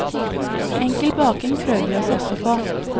Enkel baking prøver vi oss også på.